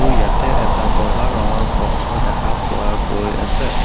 উ ইয়াতে এটা বগা ৰঙৰ বক্স ও দেখা পোৱা গৈ আছে।